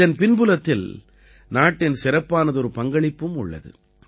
இதன் பின்புலத்தில் நாட்டின் சிறப்பானதொரு பங்களிப்பும் உள்ளது